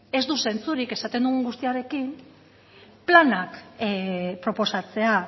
ez du zentzurik esaten dugun guztiarekin planak proposatzea